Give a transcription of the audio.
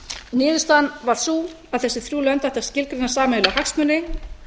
niðurstaðan var sú að þessi þrjú lönd ættu að skilgreina sameiginlega hagsmuni